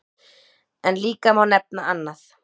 En líka má nefna annað.